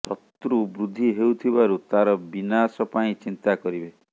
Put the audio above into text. ଶତ୍ରୁ ବୃଦ୍ଧୀ ହେଉଥିବାରୁ ତାର ବିନାଶ ପାଇଁ ଚିନ୍ତା କରିବେ